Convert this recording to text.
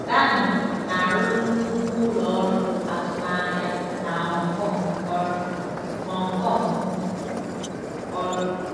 Danny * na-arụrụ nnukwu ụlọ ọrụ azụmaahịa na Hong Kong ọrụ. Hong Kong ọrụ.